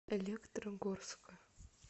электрогорска